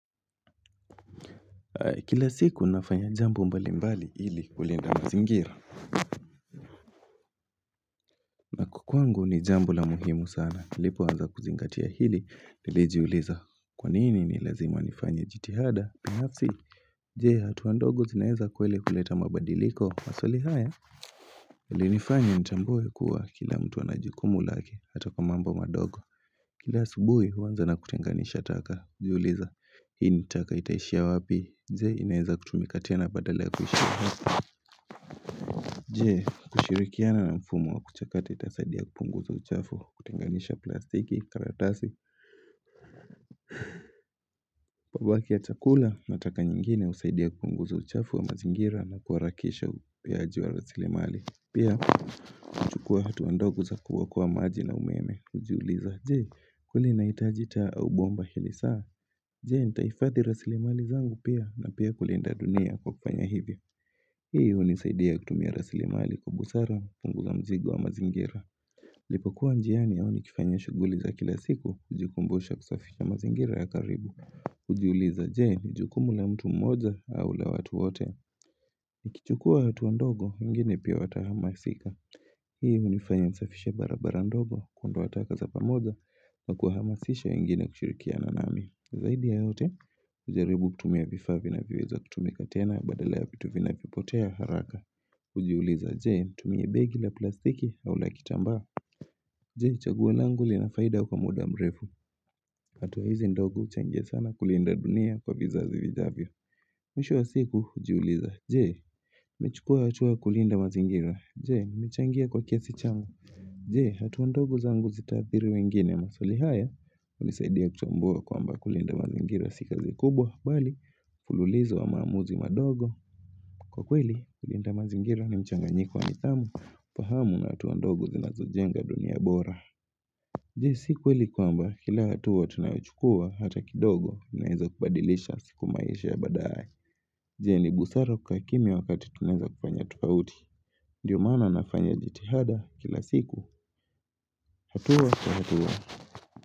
Kila siku nafanya mambo mbalimbali ili kulinda mazingira Kwangu ni jambo la muhimu sana nilipo anza kuzingatia hili nilijiuliza kwanini ni lazima nifanya jitihada binafsi Je hatua ndogo zinaeza kweli kuleta mabadiliko maswali haya yalinifanya nitambue kuwa kila mtu anajukumu laki hata kwa mambo madogo. Kila asubuhi uanza na kutenganisha taka ujiuliza hii taka itaishia wapi Je? Inaeza kutumika tena badala ya kuhishia Je? Kushirikiana na mfumo wa kuchakati kutasaidia kupunguza uchafu wa kutenganisha plastiki, karatasi, mabaki ya chakula na taka nyengine usaidia kupunguza uchafu wa mazingira na kuharakisha upeaji wa rasilimali pia. Chukua hatu ndog za kuokoa maji na umeme ujiuliza Je kule naitaji taa au bomba hili saa. Je? Nitaifadhi rasilimali zangu pia na pia kulinda dunia kwa kufanya hivyo hiyo hunisaidia kutumia rasilimali kwa busara kupunguza mzigo wa mazingira Nilipo kuwa njiani au nikifanya shuguli za kila siku ujikumbusha kusafisha mazingira ya karibu Ujiuliza je? Ni jukumu la mtu mmoja au la watu wote. Nikichukua hatua ndogo wengine pia watahamasika Hii unifanya nisafishe barabara ndogo kuondoa taka za pamoja Nakuahamasisha wengine kushirikiana nami zaidi ya yote. Ujaribu kutumia vifaa vinavyoweza kutumika tena badala ya vitu vinavyopotea haraka. Ujiuliza je nitumie begi la plastiki au la kitamba Je, chaguo langu lina faida kwa muda mrefu. Hatuwa hizi ndogo uchangia sana kulinda dunia kwa vizazi vijavyo. Mwisho wa siku, ujiuliza. Je? Uchukua hatua kulinda mazingira. Je, mmechangia kwa kiasi changu. Jeen, hatuwa ndogo zangu zitaathiri wengine maswali haya. Ulisaidia kutwambia kwamba kulinda mazingira si kazi kubwa. Bali, fululizo wa maamuzi madogo. Kwa kweli, kulinda mazingira ni mchanganyiko wa nidhamu. Fahamu hatuwa ndogo zinazojenga dunia bora. Je sikweli kwamba kila hatuwa tunayochukua hata kidogo inaeza kubadilisha siku maisha ya baadae. Jee ni busara kaa kimyia wakati tuneza kufanya tofauti. Ndiyo maana nafanya jitihada kila siku. Hatuwa kwa hatuwa.